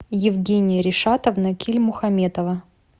евгения ришатовна кильмухаметова